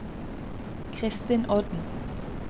Christin Odden